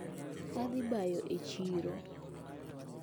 Adhi bayo e chiro.